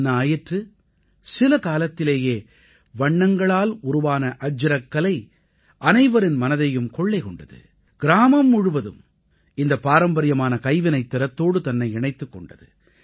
என்ன ஆயிற்று சில காலத்திலேயே வண்ணங்களால் உருவான அஜ்ரக் கலை அனைவரின் மனதையும் கொள்ளை கொண்டது கிராமம் முழுவதும் இந்தப் பாரம்பரியமான கைவினைத்திறத்தோடு தன்னை இணைத்துக் கொண்டது